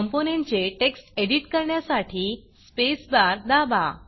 कॉम्पोनंटचे text edit करण्यासाठी space bar space bar दाबा